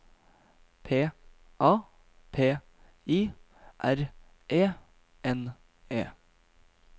P A P I R E N E